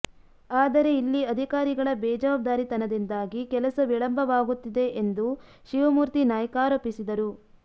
ಆದರೆ ಇಲ್ಲಿ ಅಧಿಕಾರಿಗಳ ಬೇಜವಾಬ್ದಾರಿತನದಿಂದಾಗಿ ಕೆಲಸ ವಿಳಂಬವಾಗುತ್ತಿದೆ ಎಂದು ಶಿವಮೂರ್ತಿ ನಾಯ್ಕ ಆರೋಪಿಸಿದರು